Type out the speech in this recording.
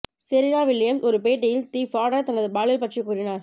Serena Williams ஒரு பேட்டியில் the Fader தனது பாலியல் பற்றி கூறினார்